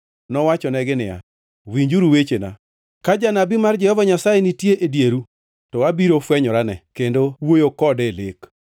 nowachonegi niya, “Winjuru wechena: “Ka janabi mar Jehova Nyasaye nitie e dieru, to abiro afwenyorane, kendo awuoyo kode e lek.